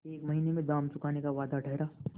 एक महीने में दाम चुकाने का वादा ठहरा